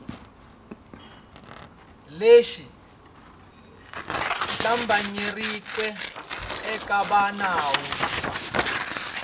lexi hlambanyeriweke eka va nawu